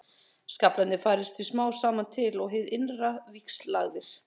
Skaflarnir færast því smám saman til og eru hið innra víxllagaðir.